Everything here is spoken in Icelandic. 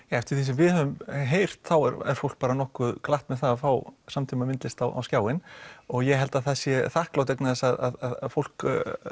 eftir því sem við höfum heyrt þá er fólk nokkuð glatt með það að fá samtímamyndlist á skjáinn og ég held að það sé þakklátt vegna þess að fólk